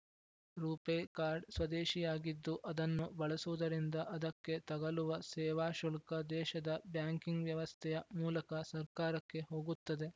ರೂಪೆ card ಸ್ವದೇಶಿಯಾಗಿದ್ದು ಅದನ್ನು ಬಳಸುವುದರಿಂದ ಅದಕ್ಕೆ ತಗಲುವ ಸೇವಾಶುಲ್ಕ ದೇಶದ ಬ್ಯಾಂಕಿಂಗ್‌ ವ್ಯವಸ್ಥೆಯ ಮೂಲಕ ಸರ್ಕಾರಕ್ಕೆ ಹೋಗುತ್ತದೆ